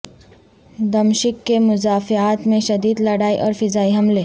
دمشق کے مضافات میں شدید لڑائی اور فضائی حملے